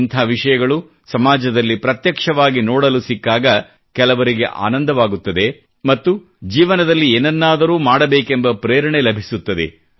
ಇಂಥ ವಿಷಯಗಳು ಸಮಾಜದಲ್ಲಿ ಪ್ರತ್ಯಕ್ಷವಾಗಿ ನೋಡಲು ಸಿಕ್ಕಾಗ ಕೆಲವರಿಗೆ ಆನಂದವಾಗುತ್ತದೆ ಮತ್ತು ಜೀವನದಲ್ಲಿ ಏನನ್ನಾದರೂ ಮಾಡಬೇಕೆಂಬ ಪ್ರೇರಣೆ ಲಭಿಸುತ್ತದೆ